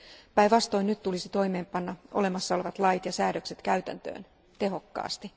Päinvastoin nyt tulisi panna olemassa olevat lait ja säädökset täytäntöön tehokkaasti.